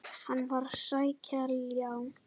Hann var að sækja ljá.